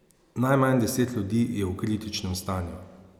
Najmanj deset ljudi je v kritičnem stanju.